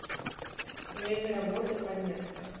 время работы ванесса